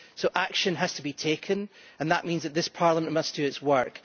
So action has to be taken, and that means that this Parliament must do its work.